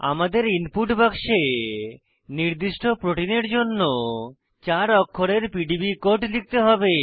আমাদের ইনপুট বাক্সে নির্দিষ্ট প্রোটিনের জন্য চার অক্ষরের পিডিবি কোড লিখতে হবে